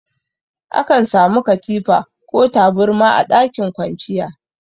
Akan samu katifa ko taburma a ɗakin kwanciya.